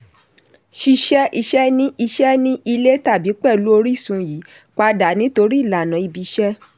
ṣíṣe iṣẹ́ ní iṣẹ́ ní ilé tàbí pẹ̀lú orísun yí padà nítorí ìlànà ibi iṣẹ́.